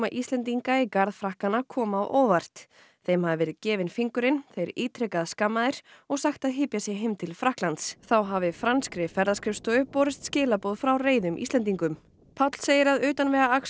Íslendinga í garð Frakkanna koma sér á óvart þeim hafi verið gefinn fingurinn þeir ítrekað skammaðir og sagt að hypja sig heim til Frakklands þá hafi franskri ferðaskrifstofu borist skilaboð frá reiðum Íslendingum Páll segir að utanvegaakstur